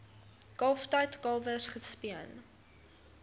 kalftyd kalwers gespeen